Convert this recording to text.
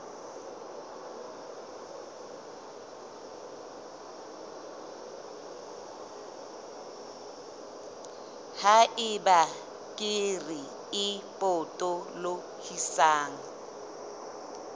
ha eba kere e potolohisang